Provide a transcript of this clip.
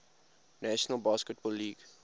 national basketball league